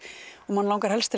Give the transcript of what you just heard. manni langar helst